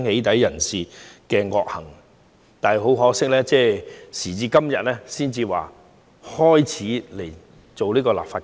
但是，很可惜，當局時至今日才開始進行立法。